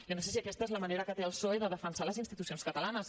jo no sé si aquesta és la manera que té el psoe de defensar les institu·cions catalanes